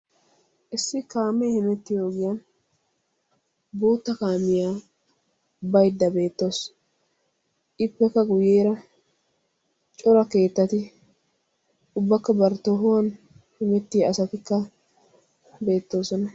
Issi kaame hemettiyo ogiyaan bootta kaamiya baydda beettawus. Ippekka guyyeera cora keettati ubbakka bari tohuwan hemettiya asatikka beettooson.